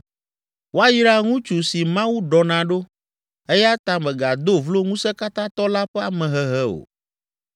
“Woayra ŋutsu si Mawu ɖɔna ɖo eya ta mègado vlo Ŋusẽkatãtɔ la ƒe amehehe o.